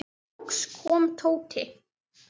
Loks kom Tóti.